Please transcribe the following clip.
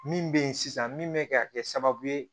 Min bɛ ye sisan min bɛ ka kɛ sababu ye